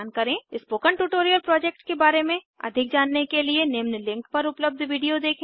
spoken tutorial project के बारे में अधिक जानने के लिए निम्न लिंक पर पर उपलब्ध वीडियो देखें